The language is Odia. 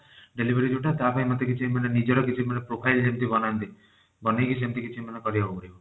delivery ଯଉଟା ତା ପାଇଁ ମୋତେ କିଛି ମାନେ ନିଜର କିଛି ମାନେ profile ଯେମିତି କରନ୍ତି ବନେଇକି ସେମତି କିଛି ମାନେ କରିବାକୁ ପଡିବ।